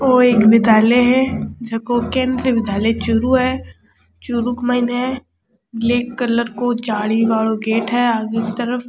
ओ एक विद्यालय है जको केंद्र विद्यालय चूरू है चूरू के मायने ब्लैक कलर को जाली वालाे गेट है आगे की तरफ।